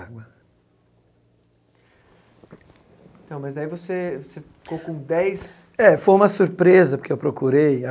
Então, mas daí você você ficou com dez... É, foi uma surpresa, porque eu procurei a.